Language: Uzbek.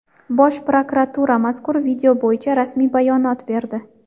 Bosh prokuratura mazkur video bo‘yicha rasmiy bayonot berdi.